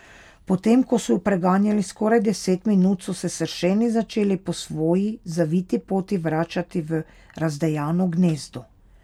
Potem ko so ju preganjali skoraj deset minut, so se sršeni začeli po svoji zaviti poti vračati v razdejano gnezdo.